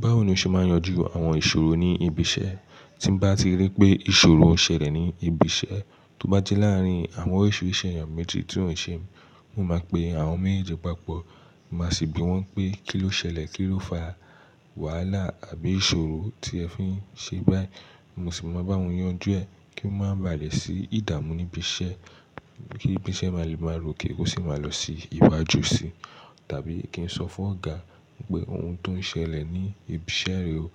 Báwo ni o ṣe máa yanjú àwọn ìṣòro ní ibi iṣẹ́? Tí bá ti rí pé ìṣòro ṣẹlẹ̀ ní ibi iṣẹ́, tó bá jẹ́ láàárín àwọn òṣìṣẹ́ èèyàn méjì tí ó ṣe, mo máa pe àwọn méjèèjì papọ̀, máa sì bi wọ́n pé kí ló ṣẹlẹ̀, kí ló fa wàhálà àbí ìṣòro tí ẹ fi ń ṣe báyìí. Mo sì máa bá wọn yanjú ẹ kí má bà lé sí ìdààmú níbi iṣẹ́, kí ibi iṣẹ́ má lè máa ròkè ó sì máa lọ sí iwájú sí tàbí kí n sọ fún ọ̀gá pé ohun tó ń ṣẹlẹ̀ ní ibi iṣẹ́ re o,